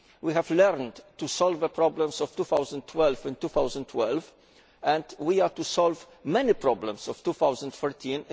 We have learned to solve the problems of 2012 in 2012, and we are to solve many problems of 2013